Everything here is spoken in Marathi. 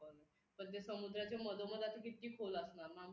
पण जे समुद्राचे मधोमध असं किती खोल असणार ना?